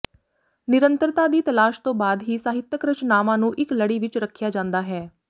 ਨਿਰੰਤਰਤਾ ਦੀ ਤਲਾਸ਼ ਤੋਂ ਬਾਅਦ ਹੀ ਸਾਹਿਤਕ ਰਚਨਾਵਾਂ ਨੂੰ ਇੱਕ ਲੜੀ ਵਿੱਚ ਰੱਖਿਆ ਜਾਂਦਾ ਹੈ